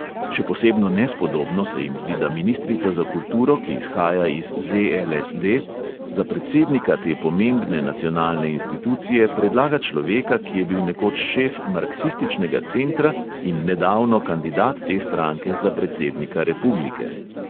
Še posebno nespodobno se jim zdi, da ministrica za kulturo, ki izhaja iz ZLSD, za predsednika te pomembne nacionalne institucije predlaga človeka, ki je bil nekoč šef marksističnega centra in nedavno kandidat te stranke za predsednika republike.